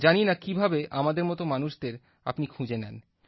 জানি না কী ভাবে আমাদের মত মানুষদের আপনি খুঁজে নেন